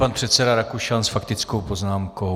Pan předseda Rakušan s faktickou poznámkou.